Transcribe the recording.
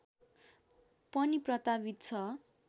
पनि प्रतावित छ